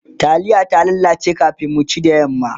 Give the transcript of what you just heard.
taliyar ta lalace kamin mu ci da yamma